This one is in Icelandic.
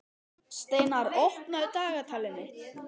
Steinar, opnaðu dagatalið mitt.